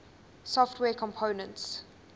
software components